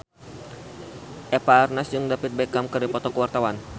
Eva Arnaz jeung David Beckham keur dipoto ku wartawan